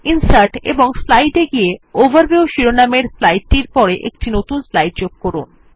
insert এবং slide এ click করে ওভারভিউ শিরোনামের স্লাইড টির পরে একটি নতুন স্লাইড যোগ করুন